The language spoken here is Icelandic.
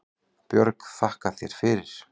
Björg: Þakka þér fyrir